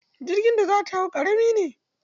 Jirgin da za ta hau ƙarami ne.